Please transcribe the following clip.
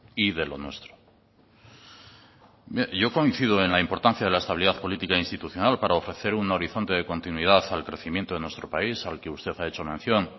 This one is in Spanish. y de lo nuestro mire yo coincido en la importancia de la estabilidad política institucional para ofrecer un horizonte de continuidad al crecimiento de nuestro país al que usted ha hecho mención